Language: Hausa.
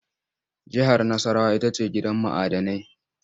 Jihar Nassarawa ita ce gidan ma'dinai.